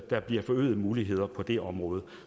der bliver forøgede muligheder på det område